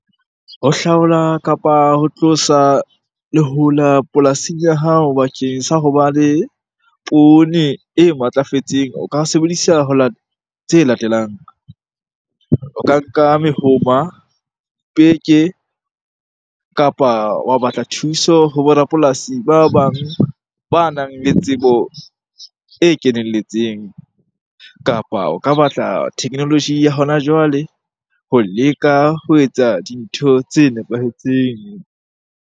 Ho hlaola kapa ho tlosa lehola polasing ya hao bakeng sa hoba le poone e matlafetseng, o ka sebedisa tse latelang. O ka nka mehoma, peke kapa wa batla thuso ho borapolasi ba bang banang le tsebo e kenelletseng. Kapa o ka batla technology ya hona jwale ho leka ho etsa dintho tse nepahetseng.